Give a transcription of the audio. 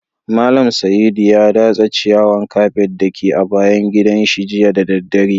Mallam Saidu ya datsa ciyawan kafet da ke a bayan gidan shi jiya da dare.